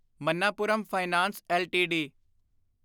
Manappuram finance LTD